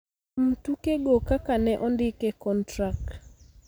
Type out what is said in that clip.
kuom tukego kaka ne ondik e kontrak.